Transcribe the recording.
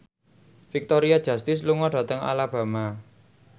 Victoria Justice lunga dhateng Alabama